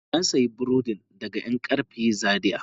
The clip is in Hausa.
Na sayi burodin daga yankarfe Zaria.